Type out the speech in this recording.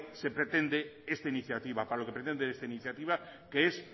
pretende esta iniciativa que es